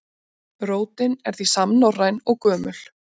Rótin er því samnorræn og gömul.